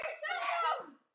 Er það að vonum.